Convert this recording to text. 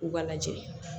U ka lajɛ